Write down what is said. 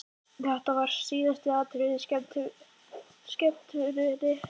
Þetta var síðasta atriðið á skemmtuninni!